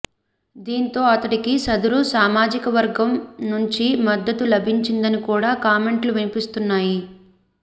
దీంతో అతడికి సదరు సామాజికవర్గం నుంచి మద్దతు లభించిందని కూడా కామెంట్లు వినిపిస్తున్నాయి